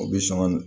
O bi sɔn ka